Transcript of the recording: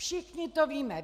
Všichni to víme.